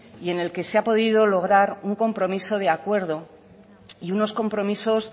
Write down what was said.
y en el que se ha podido lograr un compromiso de acuerdo y unos compromisos